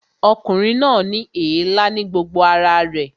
Ọkùnrin náà ní èélá ní gbogbo ara rẹ̀